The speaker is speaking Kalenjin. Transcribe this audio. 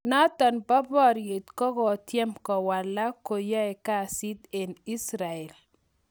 Notok po poryet kokotyem kowalak kingwoe kasit eng Israel